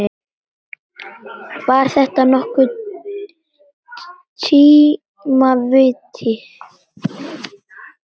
Var þetta nokkurn tíma víti?